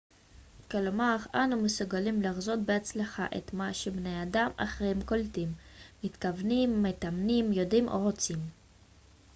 כלומר אנו מסוגלים לחזות בהצלחה את מה שבני אדם אחרים קולטים מתכוונים מאמינים יודעים או רוצים